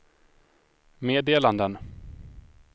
meddelanden